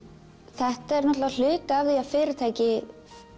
þetta er hluti af því að fyrirtæki